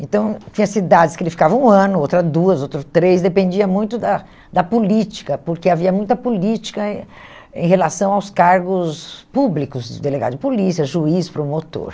Então, tinha cidades que ele ficava um ano, outras duas, outras três, dependia muito da da política, porque havia muita política em em relação aos cargos públicos, de delegado de polícia, juiz, promotor.